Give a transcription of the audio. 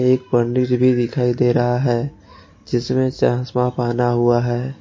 एक पंडित जी भी दिखाई दे रहा है जिसमें चश्मा पहना हुआ है।